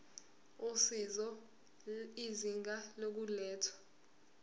usizo izinga lokulethwa